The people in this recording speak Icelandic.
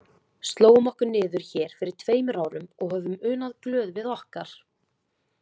Slógum okkur niður hér fyrir tveimur árum og höfum unað glöð við okkar.